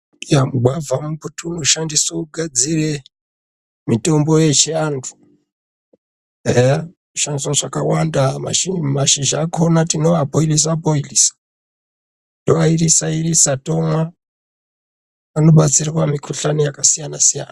Mugwavha mbuti unoshandiswa kugadzira mutombo wechiantu eya unoshandiswa zvakawanda mashizha acho tinowabhoilisa bhoilisa Tovairisa irisa tomwa panobatsirwa mikuhlani yakasiyana-siyana.